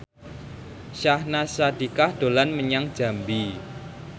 Syahnaz Sadiqah dolan menyang Jambi